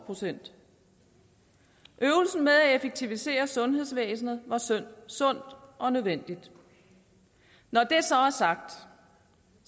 procent øvelsen med at effektivisere sundhedsvæsenet var sundt og nødvendigt når det så er sagt